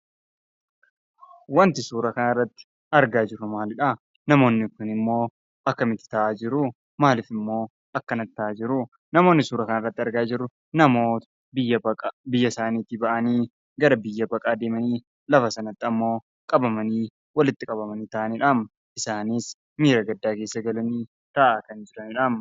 Wanti suuraa kanarratti argaa jirru maalidhaa? namoonn kunimmoo akkamitti taa'aa jiruu? maalifimmoo akkanatti ta'aa jiruu? Namoonni suuraa kanarratti argaa jirru namoota biyya baqa biyya isaaniitii ba'anii gara biyya baqaa deemanii lafa sanatti ammoo qabamanii walitti qabamanii taa'anidhaa. Isaanis miira gaddaa keessa galanii taa'aa kan jiranidhaa.